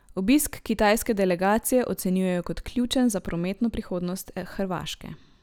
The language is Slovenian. Obisk kitajske delegacije ocenjujejo kot ključen za prometno prihodnost Hrvaške.